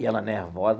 E ela nervosa.